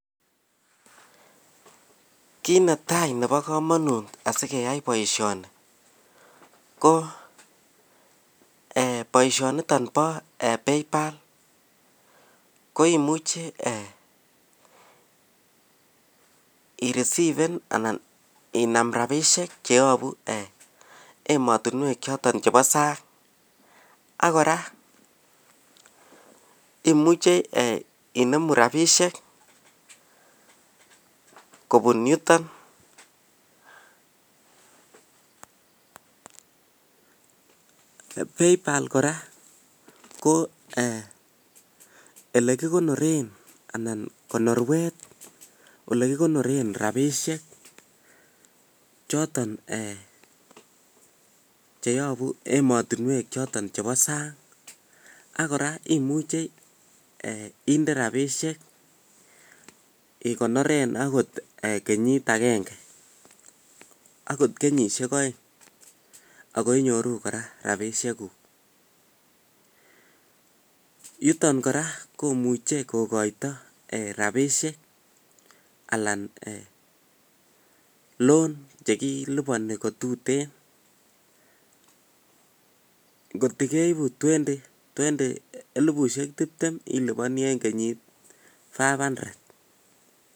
Kit netai Nebo kamanut sikeyai boisyoni Bo [paypal ] ko boisyoni inam rabishek cheyabu emet ab sang ak imuche inemu rabishek kobun yutok ak kora konorwet nekikonore rabishek chutok Bo sang ak konorwet kora Nebo sang ak konorwet nebo robin chechang chechot ko [loan] cheit bokol mut